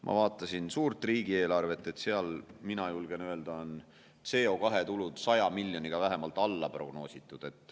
Ma vaatasin suurt riigieelarvet – mina julgen öelda, et seal on CO2 tulud 100 miljoniga vähemalt alaprognoositud.